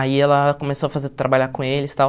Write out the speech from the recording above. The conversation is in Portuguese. Aí ela começou a fazer trabalhar com eles e tal.